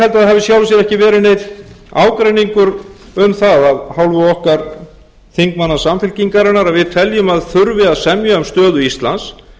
í sjálfu sér ekki verið neinn ágreiningur um það af hálfu okkar þingmanna samfylkingarinnar að við teljum að það þurfi að semja um stöðu íslands